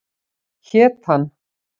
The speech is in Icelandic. Hét hann